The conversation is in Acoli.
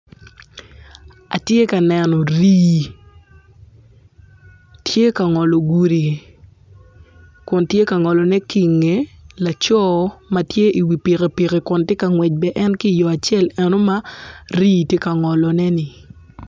Atye ka neno rii tye ka ngolo gudi kun tye ka ngolone ki inge laco ma tye iwi pikipiki kun tye ka ngwec bene en ki iyo acel eno ma rii tye ka ngolone-ni